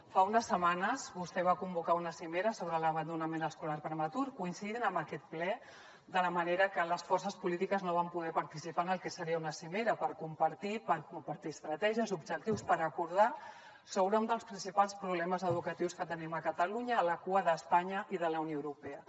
fa unes setmanes vostè va convocar una cimera sobre l’abandonament escolar prematur coincidint amb aquest ple de manera que les forces polítiques no van poder participar en el que seria una cimera per compartir estratègies objectius per acordar sobre un dels principals problemes educatius que tenim a catalunya a la cua d’espanya i de la unió europea